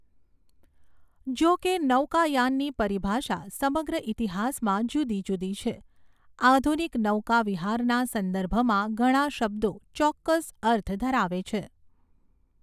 જોકે નૌકાયાનની પરિભાષા સમગ્ર ઇતિહાસમાં જુદી જુદી છે, આધુનિક નૌકાવિહારના સંદર્ભમાં ઘણા શબ્દો ચોક્કસ અર્થ ધરાવે છે.